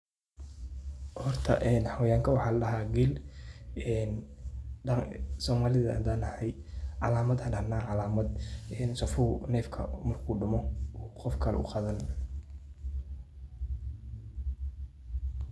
Hoorta oo xawayanga waxa ladaha Geel ee daqanga somalida handanahay, calamadaha Aya inu sifu oo dumoh Qoofkali u Qawan.